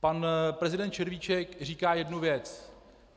Pan prezident Červíček říká jednu věc.